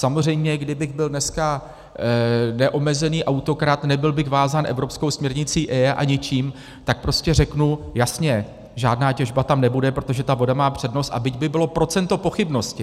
Samozřejmě kdybych byl dneska neomezený autokrat, nebyl bych vázán evropskou směrnicí EIA a ničím, tak prostě řeknu jasně, žádná těžba tam nebude, protože ta voda má přednost, byť by bylo procento pochybnosti.